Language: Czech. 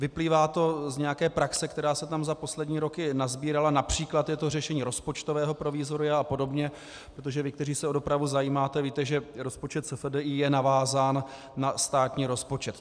Vyplývá to z nějaké praxe, která se tam za poslední roky nasbírala, například je to řešení rozpočtového provizoria a podobně, protože vy, kteří se o dopravu zajímáte, víte, že rozpočet SFDI je navázán na státní rozpočet.